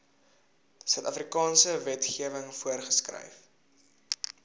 suidafrikaanse wetgewing voorgeskryf